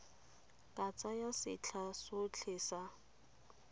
ka tsaya setlha sotlhe sa